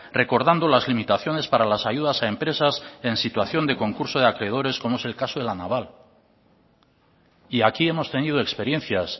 recordando las limitaciones para las ayudas a empresas en situación de concurso de acreedores como es el caso de la naval y aquí hemos tenido experiencias